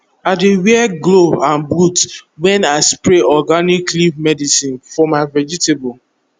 i dey wear glove and boot when i spray organic leaf medicine for my vegetables